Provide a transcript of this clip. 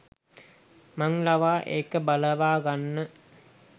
මං ලවා ඒක බලවාගන්න